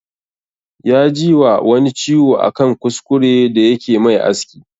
Ya ji wa wani ciwo a kan kuskure da yake mai aski